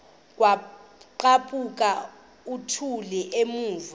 kwaqhaphuk uthuli evuma